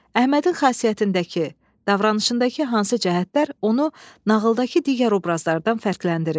Əhmədin xasiyyətindəki, davranışındakı hansı cəhətlər onu nağıldakı digər obrazlardan fərqləndirir?